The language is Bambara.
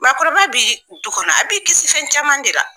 Maakɔrɔba bi du kɔnɔ, a b'i kisi fɛn caman de la